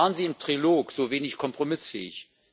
Warum waren Sie im Trilog so wenig kompromissfähig?